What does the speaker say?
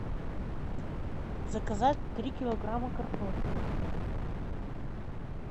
заказать три килограмма картошки